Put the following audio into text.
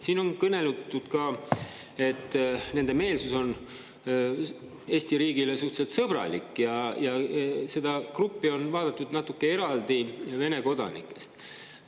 Siin on kõneldud, et nende meelsus on Eesti riigi suhtes üsna sõbralik, ja seda gruppi on vaadatud natuke eraldi Vene kodanikest.